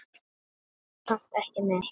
Sagði samt ekki neitt.